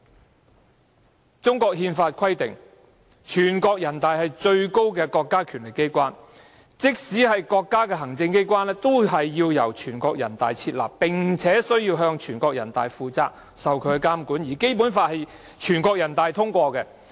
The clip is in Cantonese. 《中華人民共和國憲法》規定，全國人大是國家的最高權力機關，即使是國家行政機關也須由全國人大設立，並向全國人大負責，接受監管，而《基本法》更業經全國人大通過。